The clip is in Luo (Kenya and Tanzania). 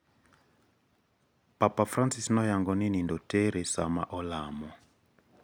Papa Francis noyango ni nindo tere sama olamo.